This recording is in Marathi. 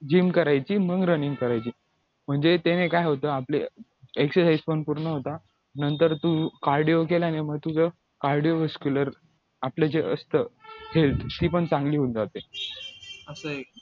gym करायची मग running करायची म्हणजे त्याने काय होतं आपले exercise पण पूर्ण होतात नंतर तू cardio केल्याने मग तुझं cardio आपलं जे असतं health ती पण चांगली होऊन जाते